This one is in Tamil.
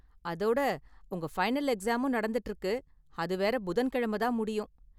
அதோட உங்க ஃபைனல் எக்ஸாமும் நடந்துட்டு இருக்கு, அது வேற புதன்கிழமை தான் முடியும்.